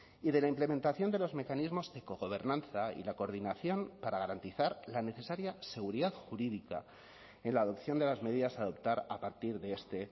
y de la implementación de los mecanismos de cogobernanza y la coordinación para garantizar la necesaria seguridad jurídica en la adopción de las medidas a adoptar a partir de este